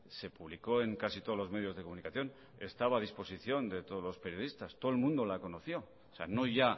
se publicó en casi todos los medios de comunicación estaba a disposición de todos los periodistas todo el mundo la conoció o sea no ya